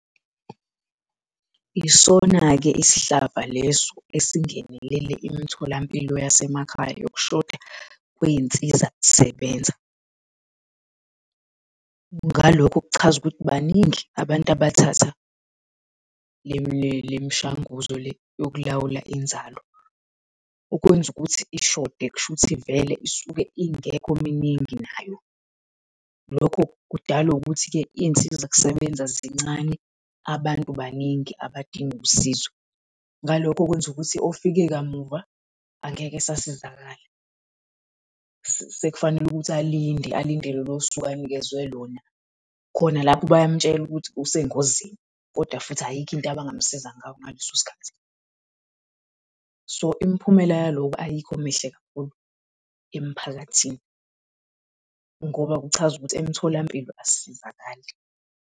Yisona-ke isihlava leso esingenelele imitholampilo yasemakhaya yokushoda kwey'nsiza kusebenza. Ngalokho kuchaza ukuthi baningi abantu abathatha le mishanguzo le yokulawula inzalo. Okwenza ukuthi ishode kushuthi vele isuke ingekho miningi nayo. Lokho kudalwa ukuthi-ke izinsiza kusebenza zincane, abantu baningi abadinga usizo. Ngalokho kwenza ukuthi ofike kamuva angeke esasizakala, sekufanele ukuthi alinde alinde lolo suku anikezwe lona khona lapho bayamtshela ukuthi usengozini, kodwa futhi ayikho into abangamsiza ngayo ngaleso sikhathi. So imiphumela yaloko ayikho mihle kakhulu emphakathini, ngoba kuchaza ukuthi emtholampilo asisizakali.